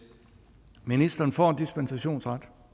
ministeren får en dispensationsret